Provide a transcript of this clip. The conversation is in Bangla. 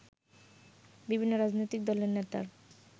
বিভিন্ন রাজনৈতিক দলের নেতার